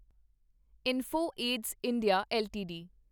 info edge India LTD